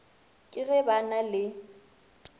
ke ge ba na le